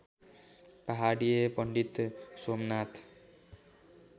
पहाडीया पण्डित सोमनाथ